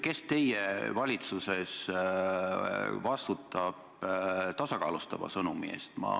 Kes teie valitsuses vastutab tasakaalustava sõnumi eest?